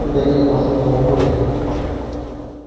да нет махнула рукой я